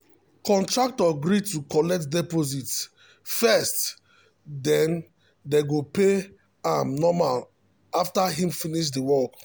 contractor gree to collect deposit first den dey go dey pay am normal after him finish de work.